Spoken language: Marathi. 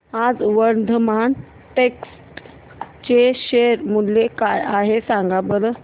आज वर्धमान टेक्स्ट चे शेअर मूल्य काय आहे सांगा बरं